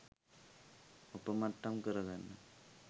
ඔපමට්ටම් කරගන්න